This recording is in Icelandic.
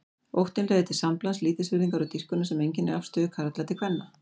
Óttinn leiðir til samblands lítilsvirðingar og dýrkunar sem einkennir afstöðu karla til kvenna.